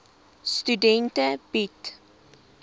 studente bied